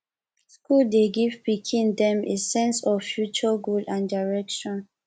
school dey give pikin them a sense of future goal and direction